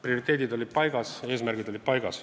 Prioriteedid on paigas, eesmärgid on paigas.